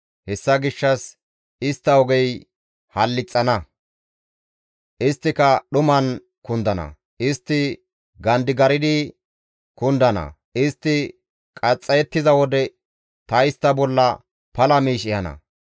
Hessa gishshas istta ogey hallixana; isttika dhuman kundana; istti gandigardi kundana; istti qaxxayettiza wode ta istta bolla pala miish ehana.